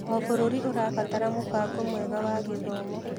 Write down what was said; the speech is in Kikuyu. O bũrũri ũrabatara mũbango mwega wa gĩthomo.